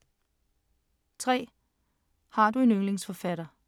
3) Har du en yndlingsforfatter?